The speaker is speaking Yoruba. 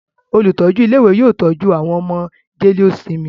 Olùtọ́jú ilé-ìwé yóò tọ́jú àwọn ọmọ jẹ́léósinmi.